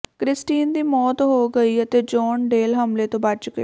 Christine ਦੀ ਮੌਤ ਹੋ ਗਈ ਅਤੇ ਜੋਹਨ ਡੇਲ ਹਮਲੇ ਤੋਂ ਬਚ ਗਏ